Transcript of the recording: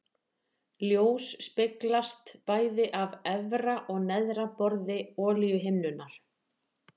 Ljós speglast bæði af efra og neðra borði olíuhimnunnar.